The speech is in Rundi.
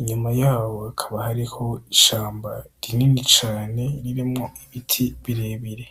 inyuma yaho hakaba hariho ishamba rinini cane ririmwo Ibiti birebire.